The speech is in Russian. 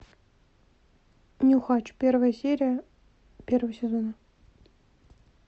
нюхач первая серия первого сезона